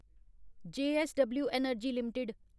JSW energy limited